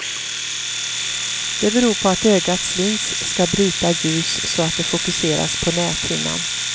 Det beror på att ögats lins ska bryta ljus så att det fokuseras på näthinnan.